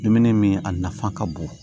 Dumuni min a nafa ka bon